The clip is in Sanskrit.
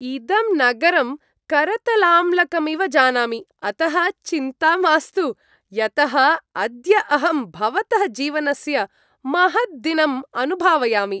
इदं नगरं करतलाम्लकमिव जानामि, अतः चिन्ता मास्तु, यतः अद्य अहं भवतः जीवनस्य महद्दिनम् अनुभावयामि।